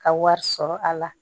Ka wari sɔrɔ a la